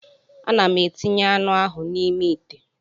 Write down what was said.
Ana m etinye anụ ahụ n'ime ite